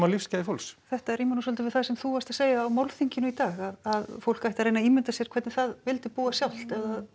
lífsgæði fólks þetta rímar nú svolítið við það sem þú varst að segja á málþinginu í dag að fólk ætti að reyna að ímynda sér hvernig það vildi búa sjálft